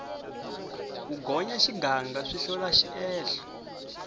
ku gonya xiganga swi hlola xiehlo